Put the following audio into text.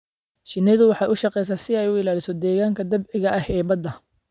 Shinnidu waxay u shaqeysaa si ay u ilaaliso deegaanka dabiiciga ah ee badda.